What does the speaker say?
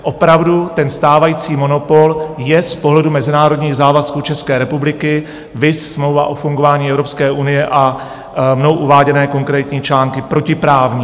Opravdu, ten stávající monopol je z pohledu mezinárodních závazků České republiky, viz smlouva o fungování EU a mnou uváděné konkrétní články, protiprávní.